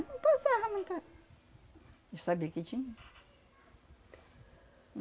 Não passava muita... Já sabia que tinha.